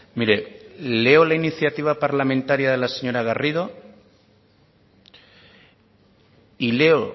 mire leo la iniciativa parlamentaria de la señora garrido y leo